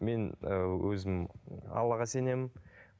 мен ііі өзім аллаға сенемін